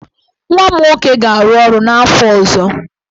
Nwa m nwoke ga-arụ ọrụ n'afọ ọzọ.